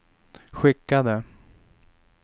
skickade